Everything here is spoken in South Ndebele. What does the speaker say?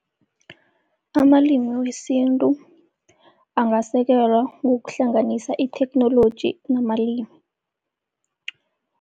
Amalimi wesintu angasekelwa ngokuhlanganisa itheknoloji namalimu.